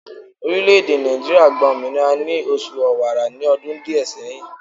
Orileèdè Nàìjíríà gba òmìnira ni oṣù Ọ̀wààrà ní ọdún díè seyin